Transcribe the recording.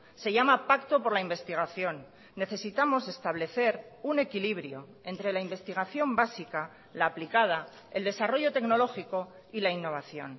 se llama pacto por la investigación necesitamos establecer un equilibrio entre la investigación básica la aplicada el desarrollo tecnológico y la innovación